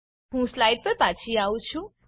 હું સ્લાઈડ પર પાછી આવી છું